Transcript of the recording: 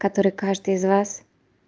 который каждый из вас